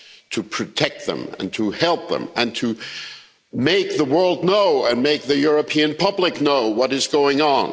to protect them, to help them and to make the world know, and make the European public know, what is going on.